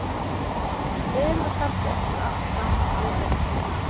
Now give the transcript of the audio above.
Erum við kannski eftir allt saman alveg eins og dýr?